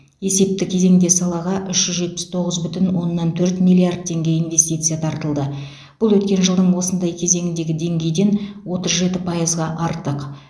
есепті кезеңде салаға үш жүз жетпіс тоғыз бүтін оннан төрт миллиард теңге инвестиция тартылды бұл өткен жылдың осындай кезеңіндегі деңгейден отыз жеті пайызға артық